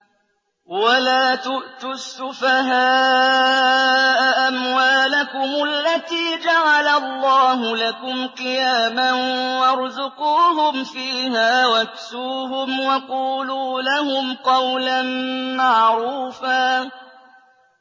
وَلَا تُؤْتُوا السُّفَهَاءَ أَمْوَالَكُمُ الَّتِي جَعَلَ اللَّهُ لَكُمْ قِيَامًا وَارْزُقُوهُمْ فِيهَا وَاكْسُوهُمْ وَقُولُوا لَهُمْ قَوْلًا مَّعْرُوفًا